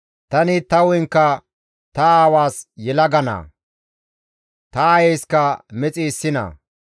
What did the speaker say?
Tani ta hu7enkka ta aawaas yelaga naa; ta aayeyska mexi issi naa.